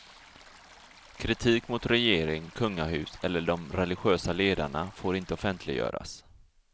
Kritik mot regering, kungahus eller de religiösa ledarna får inte offentliggöras.